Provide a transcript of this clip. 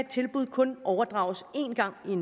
tilbud kun overdrages én gang i